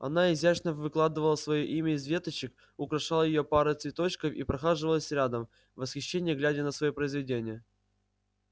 она изящно выкладывала своё имя из веточек украшала её парой цветочков и прохаживалась рядом в восхищении глядя на своё произведение